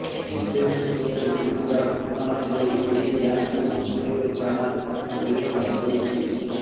ବିଶେଷସୂତ୍ରରୁ ମିଳିଥିବା ସୂଚନା ଅନୁଯାୟୀ ଏହି ଗ୍ୟାଙ୍ଗକୁ ମଞ୍ଚେଶ୍ବର ଥାନା ପୁଲିସ କାବୁ କରିଛି